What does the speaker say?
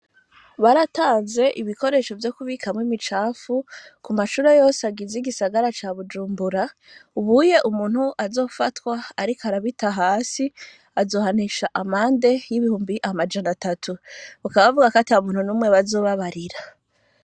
Baratanze ibikoresho vyo kubikamwo imicafu, ku mashure yose agize igisagara ca Bujumbura, ubuye umuntu azofatwa ariko arabita hasi, azohanisha amande y'ibihumbi amajana atatu, bakaba bavuga ko ata muntu n'umwe bazobabarira.